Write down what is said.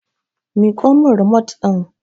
Miƙo min rimot ɗin!